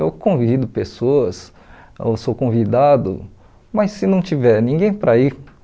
Eu convido pessoas, eu sou convidado, mas se não tiver ninguém para ir